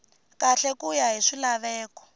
kahle ku ya hi swilaveko